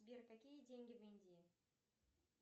сбер какие деньги в индии